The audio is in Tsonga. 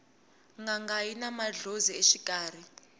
nanga yina mandlhozi exikarhi